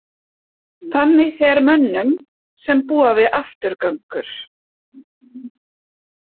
Þannig fer mönnum sem búa við afturgöngur.